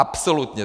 Absolutně!